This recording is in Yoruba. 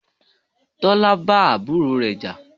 Tọ́lá bá àbúrò rẹ jà.